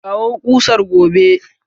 Kawo kusar gobe!